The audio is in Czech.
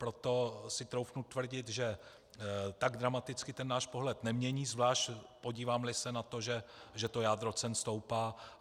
Proto si troufnu tvrdit, že tak dramaticky ten náš pohled nemění, zvlášť podíváme-li se na to, že jádro cen stoupá.